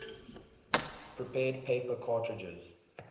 prepared paper cartridges